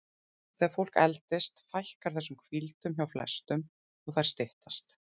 Þegar fólk eldist fækkar þessum hvíldum hjá flestum og þær styttast.